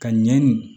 Ka ɲɛ nin